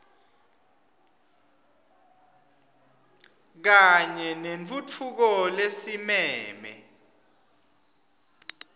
kanye nentfutfuko lesimeme